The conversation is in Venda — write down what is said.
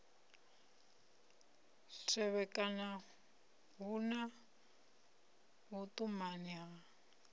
tevhekana hu na vhuṱumani ha